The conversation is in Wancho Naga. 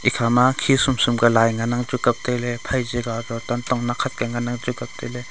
ekhama khi sum sum ka lai ngan nga chu kaptailey phai chi kaw akley tantong nakkhat ngan nga chu kaptailey.